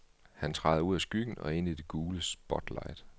Han træder ud af skyggen og ind i det gule spotlight.